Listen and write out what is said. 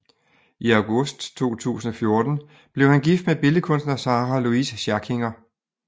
I august 2014 blev han gift med billedkunstner Sarah Louise Schackinger